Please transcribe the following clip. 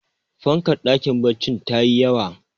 fankar dakin baccin ta yi yawa